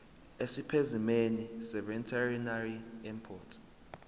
esipesimeni seveterinary import